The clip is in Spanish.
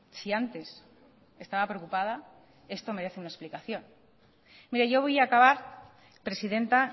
si antes estaba preocupada esto merece una explicación mire yo voy a acabar presidenta